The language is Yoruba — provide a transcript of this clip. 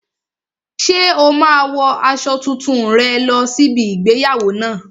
Ṣé o máa wo aṣọ tuntun rẹ lọ sí ibi igbéyàwó náà?